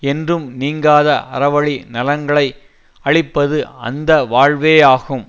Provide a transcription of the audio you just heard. என்றும் நீங்காத அறவழி நலன்களை அளிப்பது அந்த வாழ்வே ஆகும்